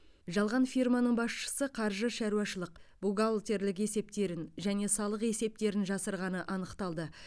жалған фирманың басшысы қаржы шаруашылық бухгалтерлік есептерін және салық есептерін жасырғаны анықталды